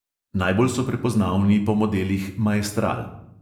Najbolj so prepoznavni po modelih maestral.